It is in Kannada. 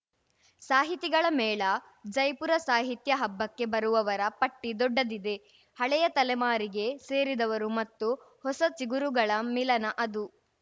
ಸಾಹಿತಿಗಳ ಮೇಳ ಜೈಪುರ ಸಾಹಿತ್ಯ ಹಬ್ಬಕ್ಕೆ ಬರುವವರ ಪಟ್ಟಿದೊಡ್ಡದಿದೆ ಹಳೆಯ ತಲೆಮಾರಿಗೆ ಸೇರಿದವರು ಮತ್ತು ಹೊಸ ಚಿಗುರುಗಳ ಮಿಲನ ಅದು